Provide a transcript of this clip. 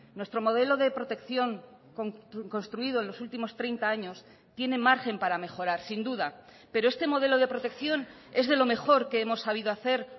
nuestro modelo de protección construido en los últimos treinta años tiene margen para mejorar sin duda pero este modelo de protección es de lo mejor que hemos sabido hacer